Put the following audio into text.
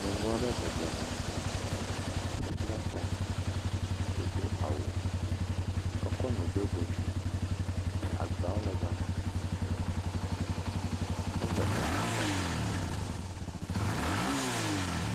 nyɔnuɔ ɖe bɔbɔ nɔnyi ebla ta wodó awu eko nu ɖó dzodzi agbawo le gama ele enutɔm